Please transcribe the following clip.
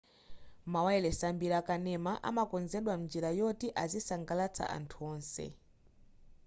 mawayilesi ambiri akanema amakonzedwa mnjira yoti azisangalatsa anthu onse